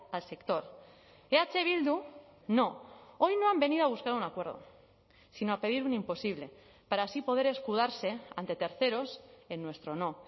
al sector eh bildu no hoy no han venido a buscar un acuerdo sino a pedir un imposible para así poder escudarse ante terceros en nuestro no